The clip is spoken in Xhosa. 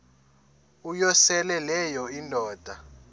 uyosele leyo indoda